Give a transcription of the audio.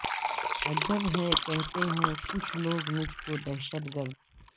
عجب ہے کہتے ہیں کچھ لوگ مجھ کو دہشت گرد